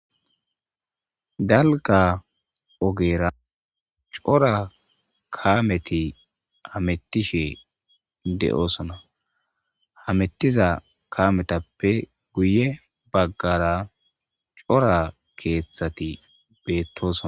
dalga ogera cora kameti hamettishe de'osona hamettiza kametappe guye baggara cora keeththati beettosona.